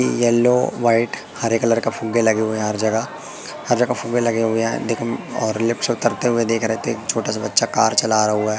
yellow white हरे colour का फुग्गे लगे हुए है हर जगह हर जगह फुग्गे लगे हुए है दीक म और लिफ्ट से उतरते हुए देख रहे थे छोटा सा बच्चा कार चला रहा हुआ--